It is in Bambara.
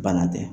Bana tɛ